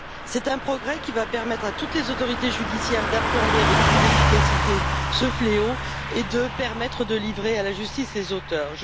C'est un progrès qui va permettre à toutes les autorités judiciaires d'appréhender avec plus d'efficacité ce fléau et de livrer à la justice les auteurs.